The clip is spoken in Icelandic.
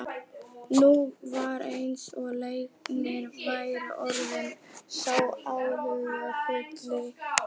Nú var eins og Leiknir væri orðinn sá áhyggjufulli.